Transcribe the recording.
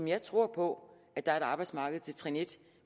jeg tror på at der er et arbejdsmarked til trin en